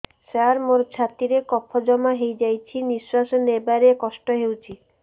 ସାର ମୋର ଛାତି ରେ କଫ ଜମା ହେଇଯାଇଛି ନିଶ୍ୱାସ ନେବାରେ କଷ୍ଟ ହଉଛି